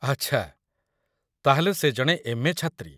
ଆଚ୍ଛା, ତା'ହେଲେ ସେ ଜଣେ ଏମ୍.ଏ. ଛାତ୍ରୀ